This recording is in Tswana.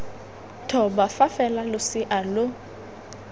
thoba fa fela losea lo